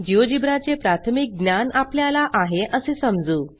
GeoGebra चे प्राथमिक ज्ञान आपल्याला आहे असे समजू